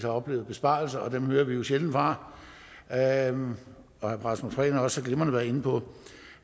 oplevet besparelser og dem hører vi jo sjældent fra herre rasmus prehn har også så glimrende været inde på